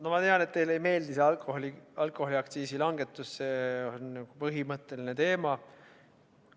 No ma tean, et teile ei meeldi see alkoholiaktsiisi langetus, see on põhimõtteline teema.